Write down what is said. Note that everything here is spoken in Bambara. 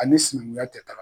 A ni sinankunya tɛ taaga.